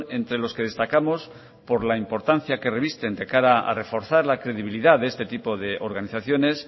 entre los que destacamos por la importancia que revisten de cara a reforzar la credibilidad de este tipo de organizaciones